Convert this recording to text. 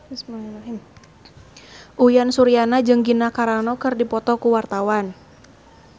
Uyan Suryana jeung Gina Carano keur dipoto ku wartawan